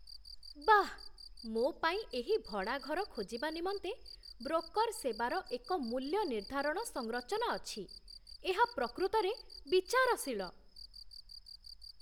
ବାଃ, ମୋ ପାଇଁ ଏହି ଭଡ଼ା ଘର ଖୋଜିବା ନିମନ୍ତେ ବ୍ରୋକର୍ ସେବାର ଏକ ମୂଲ୍ୟ ନିର୍ଦ୍ଧାରଣ ସଂରଚନା ଅଛି, ଏହା ପ୍ରକୃତରେ ବିଚାରଶୀଳ।